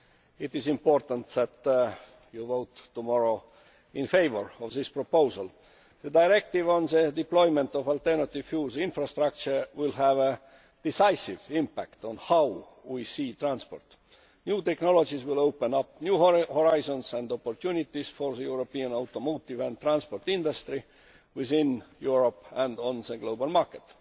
It is important that you vote tomorrow in favour of this proposal. The directive on the deployment of alternative fuels infrastructure will have a decisive impact on how we see transport. New technologies will open up new horizons and opportunities for the European automotive and transport industry within Europe and on the global market.